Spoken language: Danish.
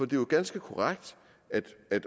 det er jo ganske korrekt